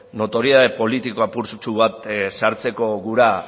notoriedade politiko apurtsu bat sartzeko gura